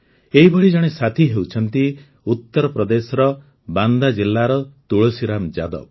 ଏହିଭଳି ଜଣେ ସାଥି ହେଉଛନ୍ତି ଉତ୍ତରପ୍ରଦେଶର ବାନ୍ଦା ଜିଲ୍ଲାର ତୁଳସୀରାମ ଯାଦବ